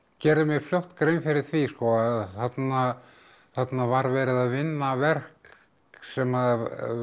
gerði mér fljótt grein fyrir því að þarna var verið að vinna verk sem